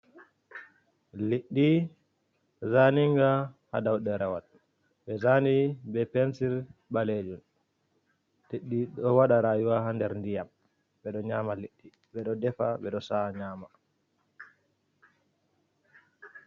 Liɗɗi zaninga haa daw ɗerewol, ɓe zaani be pensir ɓaleejum. Ɗi ɗo waɗa rayuwa haa nder ndiyam, ɓe ɗo nyaama liɗɗi, ɓe ɗo defa ɓe ɗo sa'a nyaama.